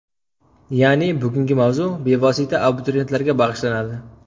Ya’ni bugungi mavzu bevosita abituriyentlarga bag‘ishlanadi.